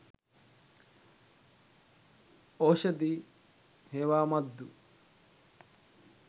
oshadi hewamaddu